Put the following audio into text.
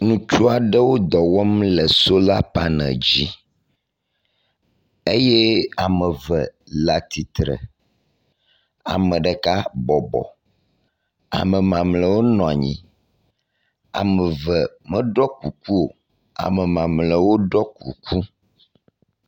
ŋutsuaɖewo dɔwɔm le sola panel dzi eye ameve le atitre, ameɖeka bɔbɔ ame mamliawo nɔ nyi ameve méɖɔ kuku o ame mamliawo ɖɔ kuku